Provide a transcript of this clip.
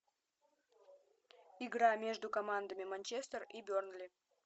игра между командами манчестер и бернли